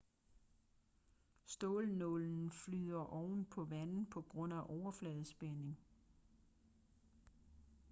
stålnålen flyder oven på vandet på grund af overfladespænding